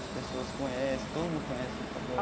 As pessoas conhecem, todo mundo conhece na faculdade.